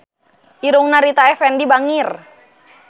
Irungna Rita Effendy bangir